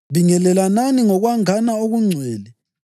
Bingelelanani ngokwangana okungcwele.